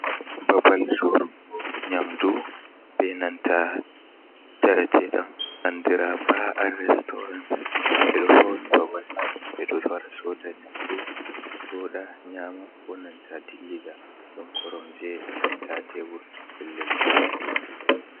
Babal sorugo nyamdu benanta njaram ɗum andira "Ba’al restaurance" ɓedo fauni babal man ɓeɗo wara soda nyamdu joda nyama, konanta dillida. Ɗon koromje senta tebur pellel joɗugo.